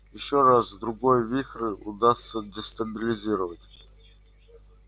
ещё раз-другой вихрь удастся дестабилизировать